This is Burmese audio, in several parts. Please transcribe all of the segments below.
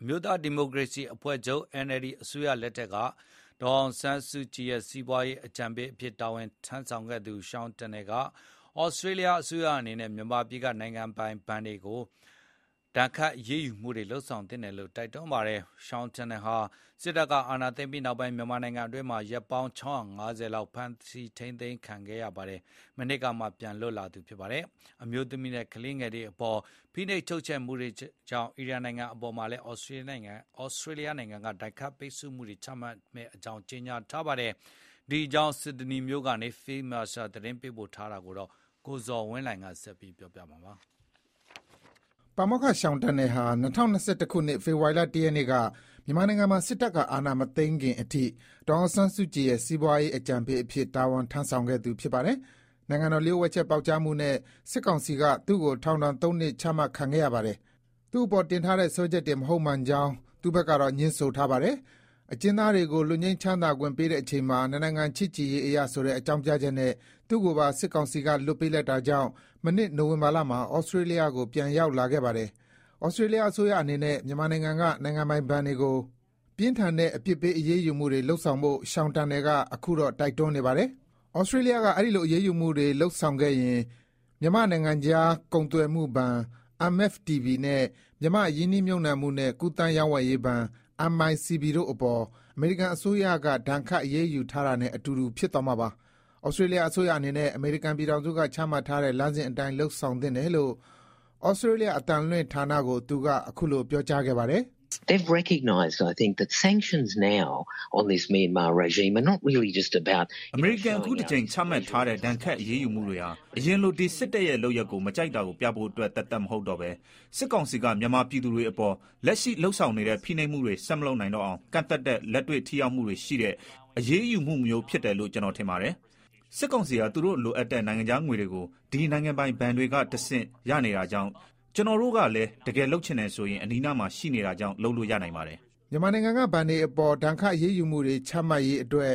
အမျိုးသားဒီမိုကရေစီအဖွဲ့ချုပ်၊ NLD အစိုးရလက်ထက်က ဒေါ်အောင်ဆန်းစုကြည်ရဲ့ စီးပွားရေးအကြံပေးအဖြစ် တာဝန်ထမ်းဆောင်ခဲ့သူ Sean Turnell က ဩစတြေးလျအစိုးရအနေနဲ့ မြန်မာပြည်က နိုင်ငံပိုင်ဘဏ်တွေကို ဒဏ်ခတ်အရေးယူဖို့ တိုက်တွန်းလိုက်ပါတယ်။ Sean Turnell ဟာ စစ်တပ်က အာဏာသိမ်းပြီးတဲ့နောက်ပိုင်း မြန်မာနိုင်ငံအတွင်းမှာ ရက်ပေါင်း ၆၅၀ လောက် ဖမ်းဆီးထိန်းသိမ်းခံထားရာက မနှစ်ကမှ ပြန်လွတ်လာသူ ဖြစ်ပါတယ်။ အမျိုးသမီးနဲ့ မိန်းကလေးငယ်တွေအပေါ် ဖိနှိပ်ချုပ်ချယ်မှုတွေကြောင့် အီရန်နိုင်ငံအပေါ်မှာလည်း ဩစတြေးလျနိုင်ငံက ဒဏ်ခတ်ပိတ်ဆို့မှုတွေ ချမှတ်မယ့် အကြောင်း ကြေညာထားပါတယ်။ ဒီအကြောင်း Sydney မြို့ကနေ Phil Mercer သတင်းပေးပို့ထားတာကို ကိုဇော်ဝင်းလှိုင်က တင်ပြပေးထားပါတယ်။ ပါမောက္ခ Sean Turnell ဟာ ၂၀၂၁ ခုနှစ်၊ ဖေဖော်ဝါရီလ ၁ ရက်နေ့က မြန်မာနိုင်ငံမှာ စစ်တပ်က အာဏာမသိမ်းခင်အထိ ဒေါ်အောင်ဆန်းစုကြည်ရဲ့ စီးပွားရေးအကြံပေးအဖြစ် တာဝန်ထမ်းဆောင်ခဲ့သူ ဖြစ်ပါတယ်။ နိုင်ငံတော်လျှို့ဝှက်ချက်ပေါက်ကြားမှုနဲ့ စစ်ကောင်စီက သူ့ကို ထောင်ဒဏ် ၃ နှစ် ချမှတ်ခံခဲ့ရပါတယ်။ သူ့အပေါ်တင်ထားတဲ့ စွဲချက်တွေ မဟုတ်မှန်ကြောင်း သူ့ဘက်က ငြင်းဆိုထားပါတယ်။ အကျဉ်းသားတွေကို လွတ်ငြိမ်းချမ်းသာခွင့်ပေးတဲ့အချိန်မှာ "နှစ်နိုင်ငံ ချစ်ကြည်ရေးအရ" ဆိုတဲ့ အကြောင်းပြချက်နဲ့ သူ့ကိုပါ စစ်ကောင်စီက လွှတ်ပေးလိုက်တာကြောင့် မနှစ် နိုဝင်ဘာလမှာ ဩစတြေးလျကို ပြန်ရောက်လာခဲ့ပါတယ်။ ဩစတြေးလျအစိုးရအနေနဲ့ မြန်မာနိုင်ငံက နိုင်ငံပိုင်ဘဏ်တွေကို ပြင်းထန်တဲ့ အပြစ်ပေး အရေးယူမှုတွေလုပ်ဆောင်ဖို့ Sean Turnell က အခုတော့ တိုက်တွန်းနေပါတယ်။ "ဩစတြေးလျက အဲဒီလို အရေးယူမှုတွေလုပ်ဆောင်ခဲ့ရင် မြန်မာ့နိုင်ငံခြား ကုန်သွယ်မှုဘဏ် MFTB နဲ့ မြန်မာ့ ရင်းနှီးမြှုပ်နှံမှုနဲ့ ကူးသန်းရောင်းဝယ်ရေးဘဏ် MICB တို့အပေါ် အမေရိကန်အစိုးရက ဒဏ်ခတ်အရေးယူထားတာနဲ့ အတူတူ ဖြစ်သွားမှာပါ။" ဩစတြေးလျအစိုးရအနေနဲ့ အမေရိကန်ပြည်ထောင်စုကချမှတ်ထားတဲ့ လမ်းစဉ်အတိုင်း လုပ်ဆောင်သင့်တယ်လို့ ဩစတြေးလျ အသံလွှင်ဌာနကို သူက အခုလို ပြောကြားခဲ့ပါတယ်။ “အမေရိကန်က အခုတကြိမ်ချမှတ်ထားတဲ့ ဒဏ်ခတ် အရေးယူမှုတွေဟာ အရင်လို ဒီ စစ်တပ်ရဲ့လုပ်ရပ်ကို မကြိုက်တာပြဖို့သက်သက်မဟုတ်တော့ဘဲ စစ်ကောင်စီက မြန်မာပြည်သူတွေအပေါ် လက်ရှိလုပ်ဆောင်နေတဲ့ ဖိနှိပ်မှုတွေ ဆက်မလုပ်နိုင်တော့အောင် ကန့်သတ်တဲ့ လက်တွေ့ထိရောက်မှုရှိတဲ့ အရေးယူမှုမျိုးဖြစ်တယ်လို့ ကျနော်ထင်ပါတယ်။ စစ်ကောင်စီဟာ သူတို့ လိုအပ်တဲ့နိုင်ငံခြားငွေတွေကို ဒီ နိုင်ငံပိုင်ဘဏ်တွေကတဆင့် ရနေတာကြောင့် ကျနော်တို့ ကလည်း တကယ်လုပ်ချင်တယ်ဆိုရင် အနီးနားမှာ ရှိနေတာကြောင့် လုပ်လို့ရနိုင်ပါတယ်။” မြန်မာနိုင်ငံက ဘဏ်တွေအပေါ် ဒဏ်ခတ်အရေးယူမှုတွေ ချမှတ်ရေးအတွက်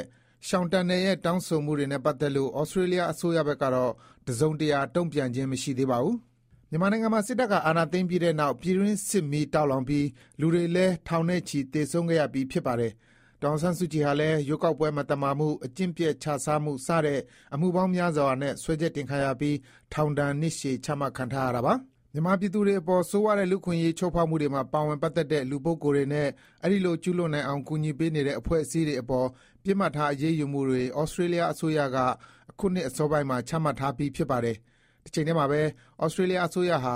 Sean Turnell ရဲ့ တောင်းဆိုမှုတွေနဲ့ ပတ်သက်လို့ ဩစတြေးလျအစိုးရဘက်ကတော့ တစုံတရာ တုံ့ပြန်ခြင်း မရှိသေးပါဘူး။ မြန်မာနိုင်ငံမှာ စစ်တပ်က အာဏာသိမ်းပြီးတဲ့နောက် ပြည်တွင်းစစ်မီးတောက်လောင်ပြီး လူတွေလည်း ထောင်နဲ့ချီ သေဆုံးခဲ့ရပြီး ဖြစ်ပါတယ်။ ဒေါ်အောင်ဆန်းစုကြည်ဟာလည်း ရွေးကောက်ပွဲမသမာမှု၊ အကျင့်ပျက်ခြစားမှု စတဲ့ အမှုပေါင်းများစွာနဲ့ စွဲချက်တင်ခံရပြီး ထောင်ဒဏ် နှစ်ရှည် ချမှတ်ခံထားရပါတယ်။ မြန်မာပြည်သူတွေအပေါ် ဆိုးရွားတဲ့ လူ့အခွင့်အရေးချိုးဖောက်မှုတွေမှာ ပါဝင် ပတ်သက်တဲ့ လူပုဂ္ဂိုလ်တွေနဲ့ အဲဒီလို ကျူးလွန်နိုင်အောင် ကူညီပေးနေတဲ့ အဖွဲ့အစည်းတွေအပေါ် ပစ်မှတ်ထား အရေးယူမှုတွေ ဩစတြေးလျအစိုးရက အခုနှစ် အစောပိုင်းမှာ ချမှတ်ထားပြီး ဖြစ်ပါတယ်။ တချိန်တည်းမှာပဲ ဩစတြေးလျအစိုးရဟာ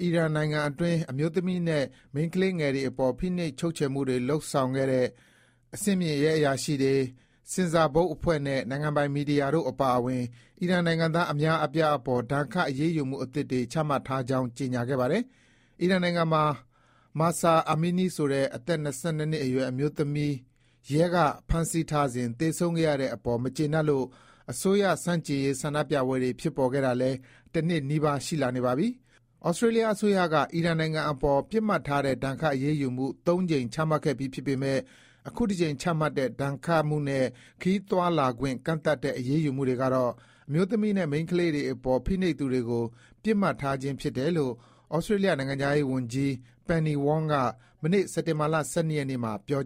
အီရန်နိုင်ငံအတွင်း အမျိုးသမီးနဲ့ မိန်းကလေးငယ်တွေအပေါ် ဖိနှိပ်ချုပ်ခြယ်တဲ့ အဆင့်မြင့် ရဲအရာရှိတွေ၊ ဆင်ဆာဘုတ်အဖွဲ့နဲ့ နိုင်ငံပိုင် မီဒီယာတို့အပါအဝင် အီရန်နိုင်ငံသား အများအပြားအပေါ် ဒဏ်ခတ် အရေးယူမှုအသစ်တွေ ချမှတ်ထားကြောင်း ကြေညာခဲ့ပါတယ်။ အီရန် နိုင်ငံမှာ Mahsa Amini ဆိုတဲ့ အသက် ၂၂ နှစ်အရွယ်အမျိုးသမီးကို ရဲက ဖမ်းဆီးထားစဉ် သေဆုံးခဲ့တဲ့အပေါ် မကျေနပ်လို့ အစိုးရဆန့်ကျင်ရေး ဆန္ဒပြပွဲတွေ ဖြစ်ပေါ်ခဲ့တာလည်း တနှစ်နီးပါး ရှိလာနေပါပြီ။ ဩစတြေးလျအစိုးရက အီရန်နိုင်ငံအပေါ် ပစ်မှတ်ထားတဲ့ ဒဏ်ခတ် အရေးယူမှု ၃ ကြိမ် ချမှတ်ခဲ့ပြီးဖြစ်ပေမယ့် အခုတကြိမ် ချမှတ်တဲ့ ဒဏ်ခတ်မှုနဲ့ ခရီးသွားခွင့် ကန့်သတ်တဲ့ အရေးယူမှုတွေကတော့ အမျိုးသမီးနဲ့ မိန်းကလေးတွေအပေါ် ဖိနှိပ်သူတွေကို ပစ်မှတ်ထားခြင်းဖြစ်တယ်လို့ ဩစတြေးလျနိုင်ငံခြားရေးဝန်ကြီး Penny Wong မနေ့ စက်တင်ဘာ ၁၂ ရက်နေ့မှာ ပြော